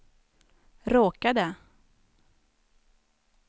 råkade